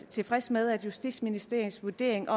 tilfreds med justitsministerens vurdering